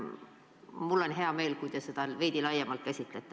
Mul on hea meel, kui te seda veidi laiemalt käsitlete.